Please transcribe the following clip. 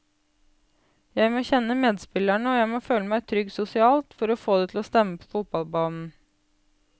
Jeg må kjenne medspillerne og jeg må føle meg trygg sosialt for å få det til å stemme på fotballbanen.